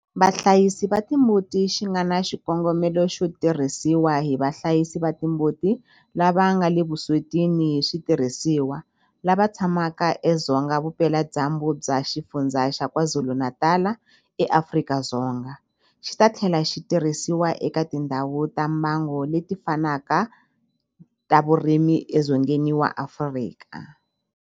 Vahlayisi va timbuti xi nga na xikongomelo xo tirhisiwa hi vahlayisi va timbuti lava nga le vuswetini hi switirhisiwa lava tshamaka edzonga vupeladyambu bya Xifundzha xa KwaZulu-Natal eAfrika-Dzonga, xi ta tlhela xi tirhisiwa eka tindhawu ta mbango leti fanaka ta vurimi edzongeni wa Afrika.